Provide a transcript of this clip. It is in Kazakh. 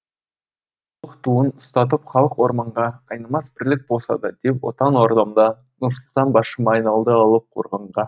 татулық туын ұстатып халық орманға айнымас бірлік болса да деп отан ордамда нұрсұлтан басшым айналды алып қорғанға